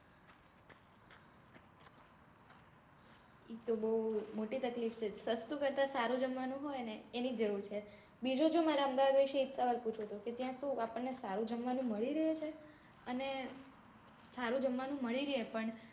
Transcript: ઈ તો બઉ મોટી તકલીફ છે. સસ્તું કરતા સારું જમવાનું હોય ને એની જરૂર છે. બીજું જોવો મારે અમદાવાદ વિશે એજ સવાલ પૂછવો હતો કે ત્યાં શું આપણ ને સારું જમવાનું મળી રહે છે? અને સારું જમવાનું મળી રહે પણ